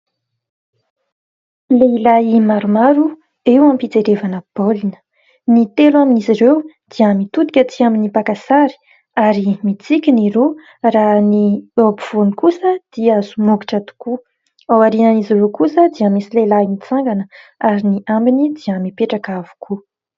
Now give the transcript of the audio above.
Lehilahy maromaro eo am-pijerevana baolina. Ny telo amin'izy ireo dia mitodika tsy amin'ny mpaka sary, ary mitsiky ny roa; raha ny eo ampovoany kosa dia somokitra tokoa. Aorian'izy ireo kosa, dia misy lehilahy mitsangana ary ny ambiny dia mipetraka avokoa.